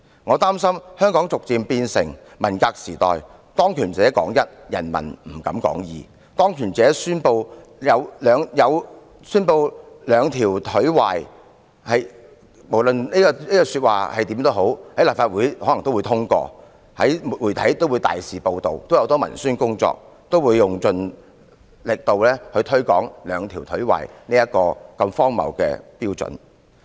我擔心香港會逐漸變成文革時代，當權者說一，人民不敢說二；當權者宣稱"兩條腿壞"時，無論這句話是甚麼意思，可能都會獲立法會通過，媒體也會大肆報道，很多文宣工作也會用盡力度推廣"兩條腿壞"如此荒謬的標準。